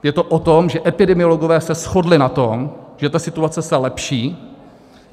Je to o tom, že epidemiologové se shodli na tom, že ta situace se lepší.